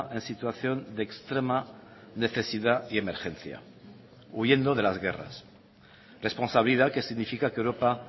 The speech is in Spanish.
en situación de extrema necesidad y emergencia huyendo de las guerras responsabilidad que significa que europa